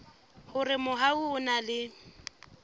hore mobu o na le